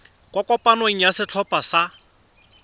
kwa kopanong ya setlhopha sa